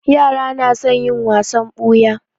Yara na son yin wasan ɓuya.